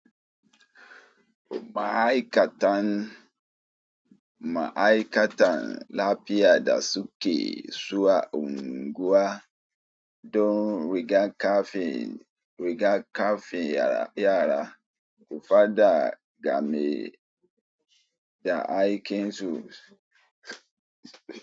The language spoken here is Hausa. Ma'aikatan, ma'aikatan lafiya da suke, suwa unguwa don rigankafin, rigankafin yara, faɗa game da aikinsu.